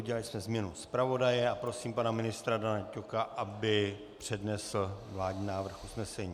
Udělali jsme změnu zpravodaje a prosím pana ministra Dana Ťoka, aby přednesl vládní návrh usnesení.